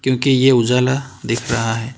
के ये उजाला दिख रहा है।